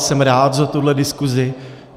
Jsem rád za tuhle diskusi.